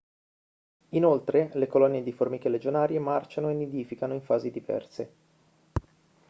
inoltre le colonie di formiche legionarie marciano e nidificano in fasi diverse